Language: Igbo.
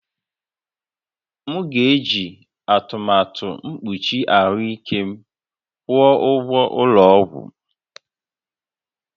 M ga-eji atụmatụ mkpuchi ahụike m kwụọ ụgwọ ụgwọ ụlọ ọgwụ